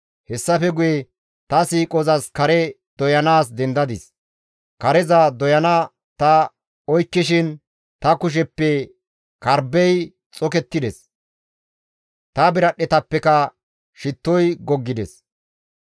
Hessafe guye ta siiqozas kare doyanaas dendadis; kareza doyana ta oykkishin ta kusheppe karbbey xokettides; ta biradhdhetappeka shittoy goggides.